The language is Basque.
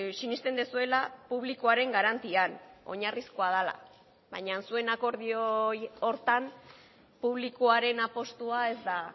sinesten duzuela publikoaren garantian oinarrizkoa dela baina zuen akordio horretan publikoaren apustua ez da